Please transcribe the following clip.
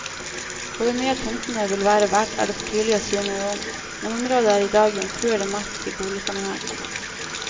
Hvor mye tomtene vil være verdt er det for tidlig å si noe om, men området er i dag jomfruelig mark i boligsammenheng.